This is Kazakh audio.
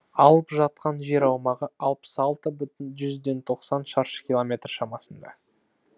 алып жатқан жер аумағы алпыс алты бүтін жүзден тоқсан шаршы километр шамасында